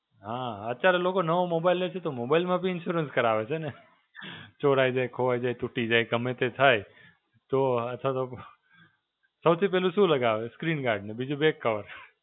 હાં, અત્યારે લોકો નવા mobile લે છે તો mobile માં બી insurance કરાવે છે ને. ચોરાઈ જાય, ખોવાઈ જાય, તૂટી જાય, ગમ્મે તે થાય તો અથવા તો સૌથી પહેલું શું લગાવે? screen guard અને બીજું બી એક cover.